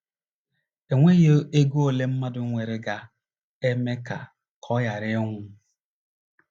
E nweghị ego ole mmadụ nwere ga - eme ka ọ ka ọ ghara ịnwụ.